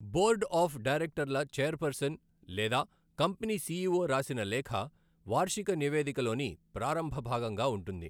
Board of డైరెక్టర్ల chairperson లేదా company CEO రాసిన లేఖ వార్షిక నివేదికలోని ప్రారంభ భాగంగా ఉంటుంది.